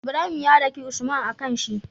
Ibrahim ya daki usman a kanshi